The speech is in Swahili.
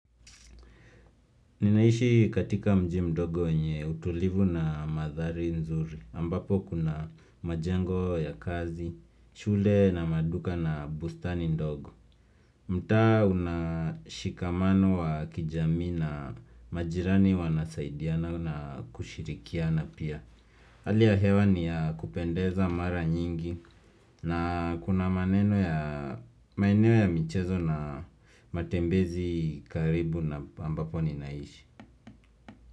Ninaishi katika mji mdogo wenye utulivu na mandhari nzuri ambapo kuna majengo ya kazi, shule na maduka na bustani ndogo. Mtaa una shikamano wa kijamii na majirani wanasaidiana na kushirikiana pia. Hali ya hewa ni ya kupendeza mara nyingi na kuna maneno ya maeneo ya michezo na matembezi karibu na ambapo ninaishi.